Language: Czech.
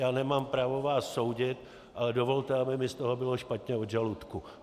Já nemám právo vás soudit, ale dovolte, aby mi z toho bylo špatně od žaludku.